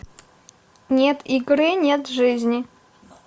нет игры нет жизни